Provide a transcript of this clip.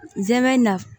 N zɛmɛ na